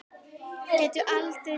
Gætu aldrei dáið.